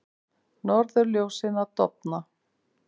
Norðurljósin að dofna